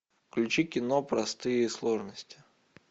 включи кино простые сложности